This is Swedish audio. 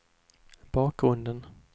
bakgrunden